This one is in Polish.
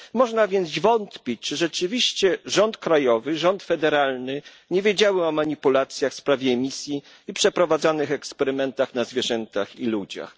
Można więc wątpić, czy rzeczywiście rząd krajowy i rząd federalny nie wiedziały o manipulacjach w sprawie emisji i o przeprowadzanych eksperymentach na zwierzętach i ludziach.